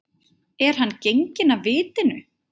Er hann genginn af vitinu?